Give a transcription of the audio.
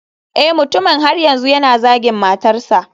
Eh mutumin har yanzu yana zagin matarsa.